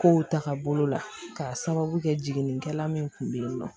Kow taga bolo la k'a sababu kɛ jiginikɛla min kun be yen nɔ